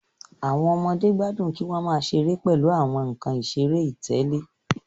Àwọn ọmọdé gbádùn kí wọn máa ṣeré pèlú àwọn nkán iṣere itẹle